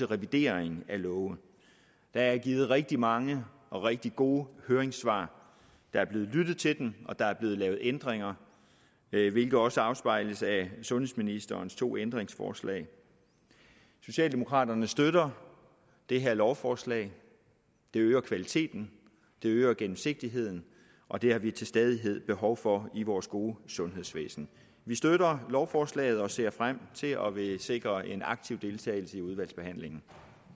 revidering af love der er givet rigtig mange og rigtig gode høringssvar der er blevet lyttet til dem og der er blevet lavet ændringer hvilket også afspejles af sundhedsministerens to ændringsforslag socialdemokraterne støtter det her lovforslag det øger kvaliteten det øger gennemsigtigheden og det har vi til stadighed behov for i vores gode sundhedsvæsen vi støtter lovforslaget og ser frem til og vil sikre en aktiv deltagelse i udvalgsbehandlingen